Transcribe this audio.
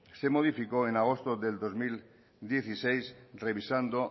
se modificó en agosto del dos mil dieciséis revisando